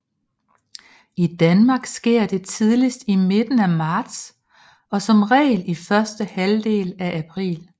I Danmark sker det tidligst i midten af marts og som regel i første halvdel af april